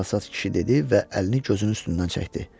Çalsat kişi dedi və əlini gözünün üstündən çəkdi.